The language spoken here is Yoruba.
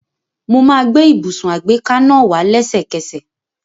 Mo máa gbé ibùsùn àgbéká náà wá lésẹ̀kẹsẹ̀